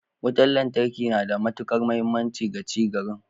Wutar lantarki na da matukar muhimmanci ga ci garin.